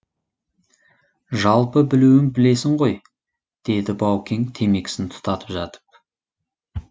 жалпы білуін білесің ғой деді баукең темекісін тұтатып жатып